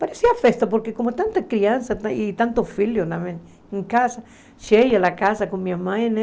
Parecia festa, porque como tanta criança e tantos filhos em casa, cheia a casa com minha mãe, né?